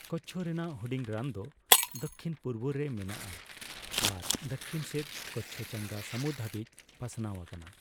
ᱠᱚᱪᱪᱷᱚ ᱨᱮᱱᱟᱜ ᱦᱩᱰᱤᱧ ᱨᱟᱱ ᱫᱚ ᱫᱚᱠᱠᱷᱤᱱᱼᱯᱩᱨᱚᱵᱽ ᱨᱮ ᱢᱮᱱᱟᱜᱼᱟ ᱟᱨ ᱫᱚᱠᱠᱷᱤᱱ ᱥᱮᱫ ᱠᱚᱪᱪᱷᱚ ᱪᱟᱸᱜᱟ ᱥᱟᱹᱢᱩᱫᱽ ᱦᱟᱵᱤᱡ ᱯᱟᱥᱱᱟᱣ ᱟᱠᱟᱱᱟ ᱾